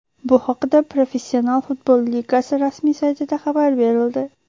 Bu haqida Professional futbol ligasi rasmiy saytida xabar berildi .